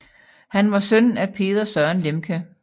Han var søn af Peder Søren Lemche